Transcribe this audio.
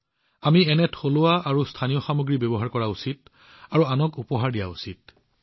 আমি নিজেও এনে থলুৱা আৰু স্থানীয় সামগ্ৰী ব্যৱহাৰ কৰা উচিত আৰু সেইবোৰ আনকো উপহাৰ দিয়া উচিত